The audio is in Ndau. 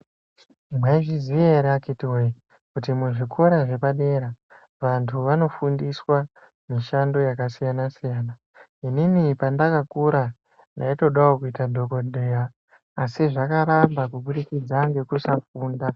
Mwaizviziya ere akhitiwoye, kuti muzvikora zvepadera, vantu vanofundiswa mishando yakasiyana-siyana. Inini pandakakura ndaitodawo kuita dhokodheya, asi zvakaramba kubudikidza ngekusafunda.